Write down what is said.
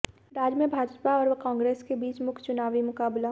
राज्य में भाजपा और कांग्रेस के बीच मुख्य चुनावी मुकाबला